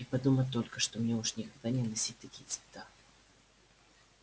и подумать только что мне уж никогда не носить такие цвета